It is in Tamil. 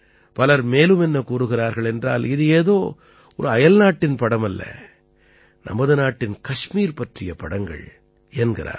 பலர் மேலும் என்ன கூறுகிறார்கள் என்றால் இது ஏதோ ஒரு அயல்நாட்டின் படமல்ல நமது நாட்டின் கஷ்மீர் பற்றிய படங்கள் என்கிறார்கள்